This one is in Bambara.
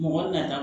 Mɔgɔ nata